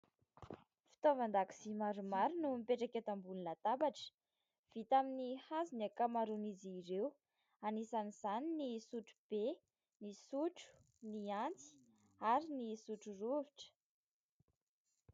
Fitaovan-dakozia maromaro no mipetraka eto amboniny latabatra, vita amin'ny hazo ny ankamaron'izy ireo, anisan'izany ny sotro be, ny sotro, ny antsy ary ny sotro rovitra.